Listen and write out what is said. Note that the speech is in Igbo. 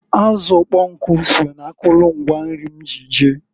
Azụ ụkpọnkụ so na akụlụ ngwa nri m ji je.